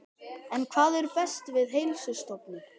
En hvað er best við Heilsustofnun?